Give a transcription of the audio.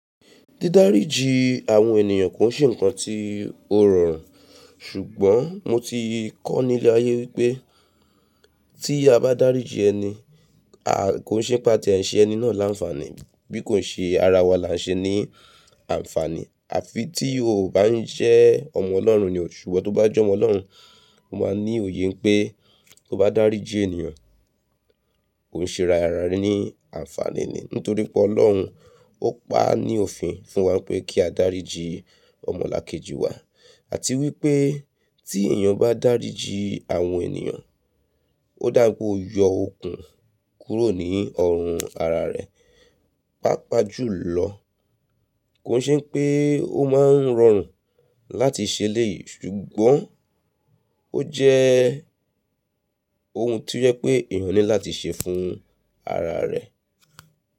Dídáríji àwọn ènìyàn kò ṣe ǹkan tí ó rọrùn ṣùgbọ́n mo ti kọ́ nílé ayé wípé tí a bá dáríji ẹni, a kò ṣe pe aa ti ẹ́ se ẹni náà láǹfààní bí kò ṣe ara wa la ṣe ní àǹfààní. Àfi tí o bá ń jẹ́ ọmọ ọlọ́run ní oo ṣùgbon tó bá jọ́mọ́ ọlọ́run, o máa ní òye pé to bá dáríji ènìyàn, o ń ṣe ara rẹ ní àǹfààní nítorí pé ọlọ́run ó pa ní òfin fún wa pé kí a dáríji ọmọlàkejì wa àti wípé tí ènìyàn bá dáríji àwọn ènìyàn, ó dà pe oo yọ okùn kúrò ní ọrùn ara rẹ. Pápá jù lọ, kò ṣe pé ó máa ń rọrùn láti ṣe eléyìí ṣùgbọ́n ó jẹ́ ohun tí ó jẹ pé ènìyàn ní láti ṣe fún ara rẹ̀.